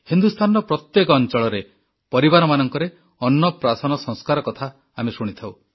ହିନ୍ଦୁସ୍ତାନର ପ୍ରତ୍ୟେକ ଅଂଚଳରେ ପରିବାରମାନଙ୍କରେ ଅନ୍ନପ୍ରାସନ ସଂସ୍କାର କଥା ଆମେ ଶୁଣିଥାଉ